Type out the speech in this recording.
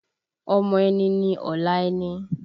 Ọmọ ẹni ni ọ̀la ẹni